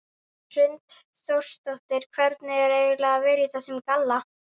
Hrund Þórsdóttir: Hvernig er eiginlega að vera í þessum galla?